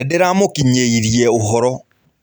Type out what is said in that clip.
Nĩndĩramũkinyĩirie ũhoro.